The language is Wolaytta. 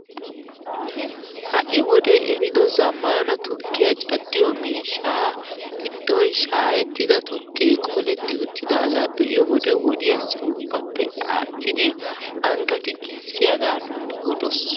Ha'i wodee ehido zammaana tukkiyaa caddiyoo miishshaa giddon shaayettida tukkee qoletti uttidaaga be'iyo wode wodiyaassi ubbappe aattidi angatti giissiyaaga nuuni odoos!